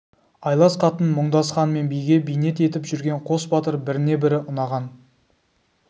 айлас қатын мұңдас хан мен биге бейнет етіп жүрген қос батыр біріне-бірі ұнаған